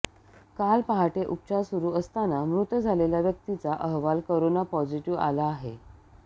काल पहाटे उपचार सुरू असतांना मृत झालेल्या व्यक्तीचा अहवाल कोरोना पॉझिटीव्ह आला आहे